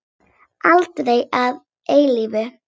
Aldrei að eilífu.